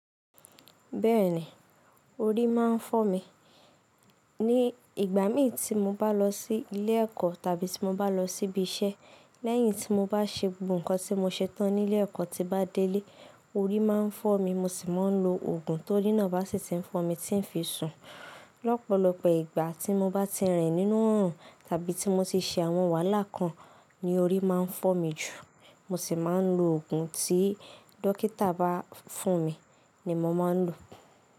Bẹ́ẹ̀ni, orí máa ń fọ́ mi. Ní ìgbà mi tí mo bá lọ sí ilé ẹ̀kọ́ tàbí tí mo bá lọ síbi iṣẹ́, lẹ́yìn tí mo bá ṣe gbogbo nǹkan tí mo ṣetán nílé ẹ̀kọ́ tí m bá délé, orí máa ń fọ́ mi mo sì máa ń lo òògùn t'orí nà bá sì ti ń fọ́ mi tí ń fi sùn. Lọ́pọ̀lọpọ̀ ìgbà tí mo bá ti rìn nínú òòrùn tàbí tí mo ti ṣe àwọn wàhálà kan ni orí máa ń fọ́ mi jù. Mo sì máa ń lo òògùn tí dókítà bá fún mi ni mo máa ń lò.